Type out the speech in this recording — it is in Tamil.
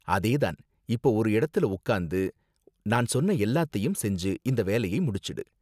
அதே தான்! இப்போ ஒரு இடத்துல உக்காந்து நான் சொன்ன எல்லாத்தையும் செஞ்சு இந்த வேலைய முடிச்சுடு.